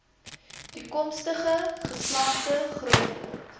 toekomstige geslagte grootword